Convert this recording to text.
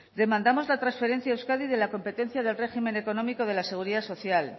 demandamos la transferencia a euskadi de la competencia del régimen económico de la seguridad social